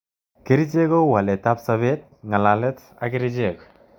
Kerchek kou waletab sabet, ngalalet ak kerchek